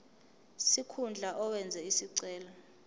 sikhundla owenze isicelo